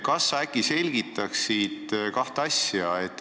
Kas sa selgitaksid kahte asja?